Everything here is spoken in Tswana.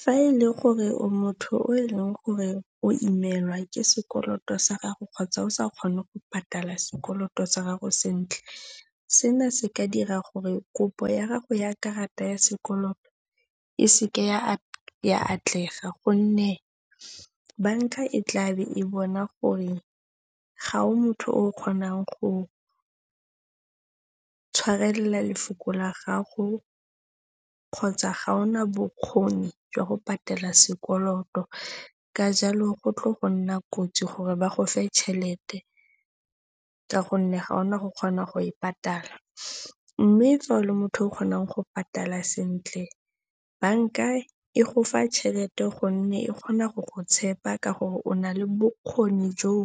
Fa e le gore o motho o e leng gore o imelwa ke sekoloto sa gago kgotsa o sa kgone go patala sekoloto sa gago sentle, sena se ka dira gore kopo ya gago ya karata ya sekoloto, e seke ya atlega gonne banka e tla be e bona gore ga o motho o kgonang go tshwarelela lefoko la gago kgotsa ga ona bokgoni jwa go patela sekoloto. Ka jalo go tlo go nna kotsi gore ba go fe tšhelete ka gonne ga ona go kgona go e patala. Mme fa o le motho yo o kgonang go patala sentle, banka e gofa tšhelete gonne e kgona go go tshepa ka gore o na le bokgoni joo